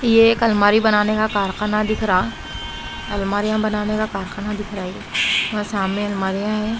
ये एक अलमारी बनाने का कारखाना दिख रहा अलमारियां बनाने का कारखाना दिख रहा है वहां सामने अलमारियां है।